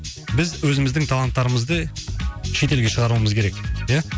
біз өзіміздің таланттарымызды шетелге шығаруымыз керек ия